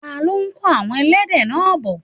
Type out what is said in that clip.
ta ló kó àwon ẹlẹ́dẹ̀ náà bọ̀?